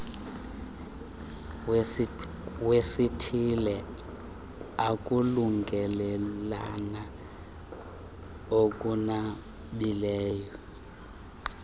wesithile ukulungelelana okunabileyo